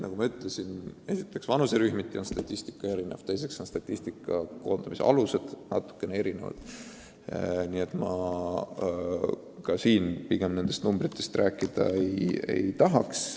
Nagu ma ütlesin, esiteks vanuserühmiti on statistika erinev, teiseks on statistika koondamise alused natuke erinevad, nii et ma siin pigem nendest numbritest rääkida ei tahaks.